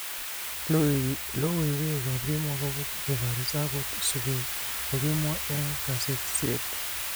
Logoywek ab kemwa akopo kebaris akot subet kokikimwa eng kasetisiek.